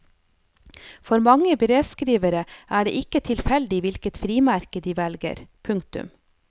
For mange brevskrivere er det ikke tilfeldig hvilket frimerke de velger. punktum